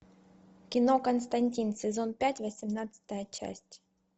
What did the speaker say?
кино константин сезон пять восемнадцатая часть